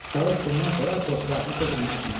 Çalış bundan sonra dostlarını çox incitmə.